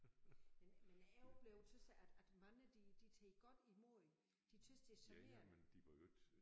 Men men er jo blevet tys jeg at at mange de de tager godt imod de tys det charmerende